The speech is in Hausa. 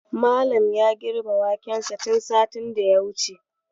Malam ya girbe wakensa tun satin da ya wuce.